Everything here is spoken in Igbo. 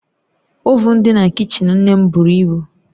Ovuun dị na kichin nne m buru ibu